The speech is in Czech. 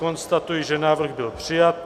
Konstatuji, že návrh byl přijat.